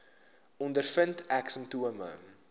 ondervind ek simptome